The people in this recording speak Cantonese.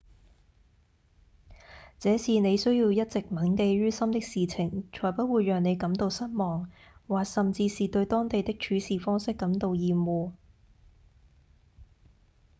這是您需要一直銘記於心的事情才不會讓您感到失望或甚至是對當地的做事方式感到厭惡